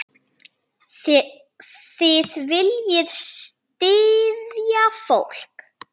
Þið viljið styðja fólk.